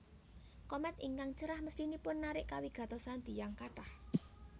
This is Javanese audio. Komèt ingkang cerah mesthinipun narik kawigatosan tiyang kathah